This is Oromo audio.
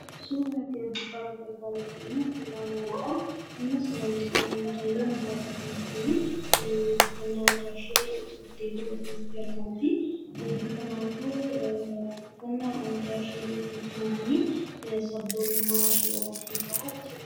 Suurri nuti as gubbaa irratti argaa jirru Kun, suuraa namaadha. Mucayyoon jirtu kunii uffannaa aadaa ishee uffattee asirratti argamti. Uffannaa aadaa ishee uffachuun kunii sabboonummaa ishee agarsiisaa jechuudha.